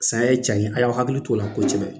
Saya ye tiɲa ye, a y'aw hakili t'o la ko kosɛbɛ.